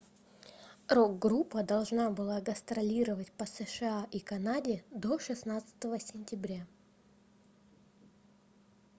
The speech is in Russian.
рок-группа должна была гастролировать по сша и канаде до 16 сентября